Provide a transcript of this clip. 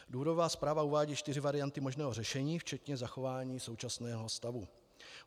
Důvodová zpráva uvádí čtyři varianty možného řešení včetně zachování současného stavu.